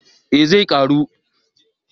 Eh zai karu